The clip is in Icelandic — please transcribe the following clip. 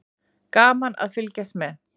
Gaman að fylgjast með.